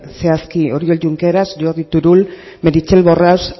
zehazki oriol junqueras jordi turull meritxell borras